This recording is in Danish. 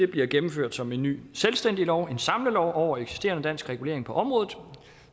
bliver gennemført som en ny selvstændig lov en samlelov over eksisterende dansk regulering på området